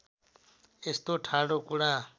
यस्तो ठाडो कुरा